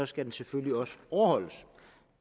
skal den selvfølgelig også overholdes